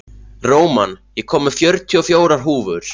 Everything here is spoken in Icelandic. Róman, ég kom með fjörutíu og fjórar húfur!